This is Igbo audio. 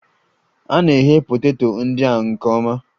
A na-eghe poteto ndị a nke ọma